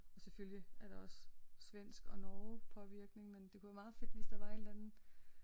Og selvfølgelig er der også svensk og Norge påvirkning men det kunne være meget fedt hvis der var et eller andet